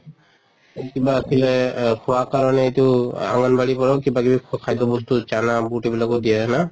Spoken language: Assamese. এই কিবা আছিলে খোৱা কাৰণেতো আংগনবাড়িৰ পৰাও কিবা কিবি খ খাদ্য় বস্তু বুট এইবিলাকো দিয়ে না?